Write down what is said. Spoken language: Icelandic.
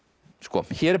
hér er